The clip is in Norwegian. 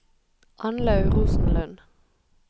Annlaug Rosenlund